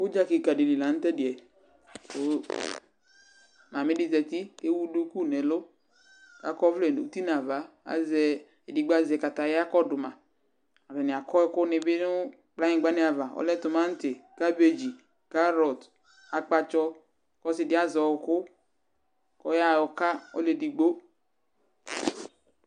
udza keka di li la no to ɛdiɛ ko mame di zati ko ewu duku no ɛlo ko akɔ ɔvlɛ no uti no ava azɛ edigbo azɛ kataya kɔdo ma atani akɔ ɛko ni bi no kplayigba ni ava ɔlɛ tomati kabeg karot akpatsɔ ko ɔse di azɛ ɔko ko ɔya ɔka ɔlo edigbo